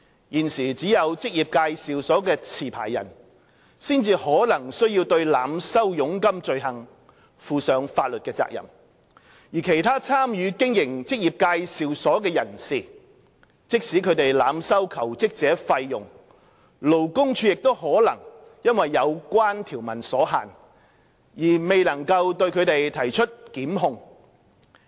現時只有職業介紹所的持牌人，才可能須對濫收佣金罪行負上法律責任，而其他參與經營職業介紹所的人士，即使他們濫收求職者費用，勞工處亦可能因有關條文所限而未能對其提出檢控。